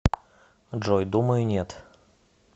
джой думаю нет